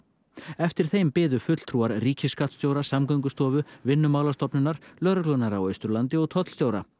eftir þeim biðu fulltrúar ríkiskattstjóra Samgöngustofu Vinnumálastofnunar lögreglunnar á Austurlandi og tollstjóra